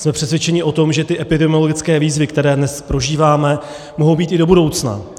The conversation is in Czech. Jsme přesvědčeni o tom, že ty epidemiologické výzvy, které dnes prožíváme, mohou být i do budoucna.